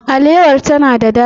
Alewar ta na da ɗadi.